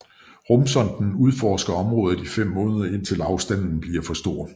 Rumsonden udforsker området i fem måneder indtil afstanden bliver for stor